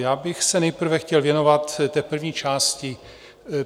Já bych se nejprve chtěl věnovat té první části.